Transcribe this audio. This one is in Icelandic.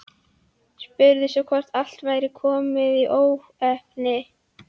Spurði svo hvort allt væri komið í óefni.